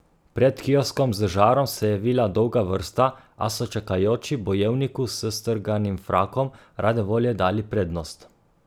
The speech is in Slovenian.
Pred kioskom z žarom se je vila dolga vrsta, a so čakajoči bojevniku s strganim frakom rade volje dali prednost.